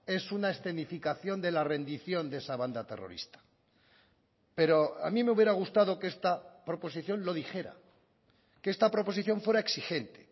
es una escenificación de la rendición de esa banda terrorista pero a mí me hubiera gustado que esta proposición lo dijera que esta proposición fuera exigente